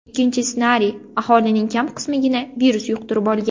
Ikkinchi ssenariy aholining kam qismigina virus yuqtirib olgan.